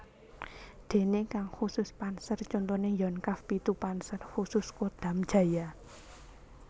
Déné kang khusus panser contoné Yonkav pitu Panser Khusus Kodam Jaya